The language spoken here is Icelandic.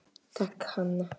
Takk, Hanna.